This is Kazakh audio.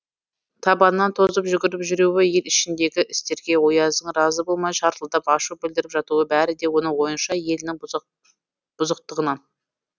табанынан тозып жүгіріп жүруі ел ішіндегі істерге ояздың разы болмай шартылдап ашу білдіріп жатуы бәрі де оның ойынша елінің бұзықтығынан